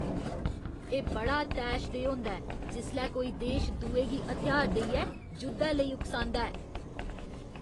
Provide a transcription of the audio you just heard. एह् बड़ा तैशदेह् होंदा ऐ जिसलै कोई देश दुए गी हथ्यार देइयै जुद्धै लेई उकसांदा ऐ।